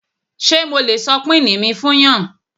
Ṣé mo lè sọ pini mi fún yàn?